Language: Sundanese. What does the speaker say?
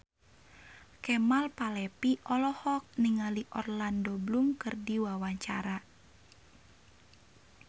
Kemal Palevi olohok ningali Orlando Bloom keur diwawancara